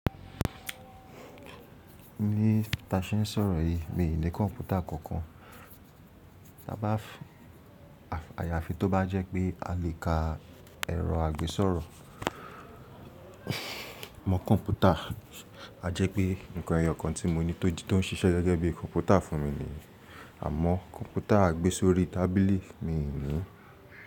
Ní ta ṣe ń sọ̀rọ̀ yìí mi ò ní kọ̀ǹpútà kankan. Tà bá àyàfi tó bá jẹ́ pé a lè ka ẹ̀rọ àgbésọ̀rọ̀ mọ́ kọ̀ǹpútà, a jẹ́ pé ǹkan ẹ̀yọ̀ kan tí mo ní tó ń ṣiṣẹ́ gẹ́gẹ́ bí i kọ̀ǹpútà fún mi nìyí. Àmọ́ kọ̀ǹpútà àgbésórí tábìlì mi ò ní.